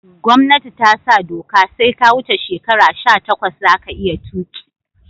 Gomnati tasa doka sai ka wuce shekara sha takwas zaka iya tuki